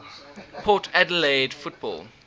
port adelaide football